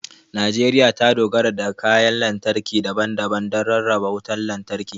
Najeriya ta dogara da kayan lantarki daban-daban don rarraba wutar lantarki.